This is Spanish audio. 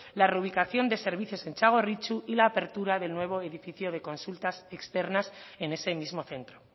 la reubicación de servicios en txagorritxu y la apertura del nuevo edificio de consultas externas en ese mismo centro